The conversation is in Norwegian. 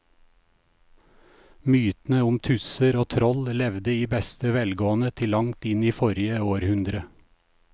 Mytene om tusser og troll levde i beste velgående til langt inn i forrige århundre.